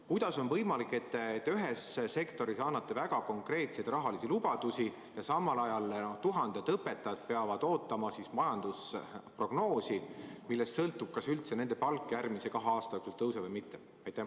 Kuidas on võimalik, et te ühes valdkonnas annate väga konkreetseid rahalisi lubadusi ja samal ajal tuhanded õpetajad peavad ootama majandusprognoosi, millest sõltub, kas nende palk järgmise kahe aasta jooksul tõuseb või mitte?